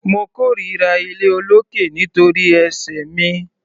Mo kórira iléolókè nítorí ẹsẹ̀ mi.